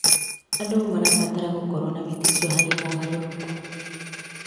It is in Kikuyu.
Andũ marabatara gũkorwo na wĩtĩkio harĩ mogarũrũku.